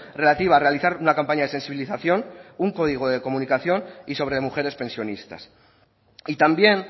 relativa a realizar una campaña de sensibilización un código de comunicación y sobre mujeres pensionistas y también